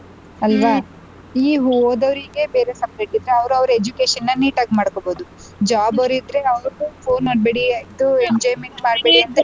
ಆಲ್ವಾ ಹ್ಮ್ ಈ ಓದೋರಿಗೆ ಬೇರೆ separate ಇದ್ರೆ ಅವ್ರವ್ರ education ನೀಟಾಗ್ ಮಾಡ್ಕೊಬೋದು job ಅವ್ರು ಆದ್ರೆ ಅವ್ರಿಗೂ phone ಮಾಡ್ಬೇಡಿ enjoyment ಮಾಡ್ಬೇಡಿ.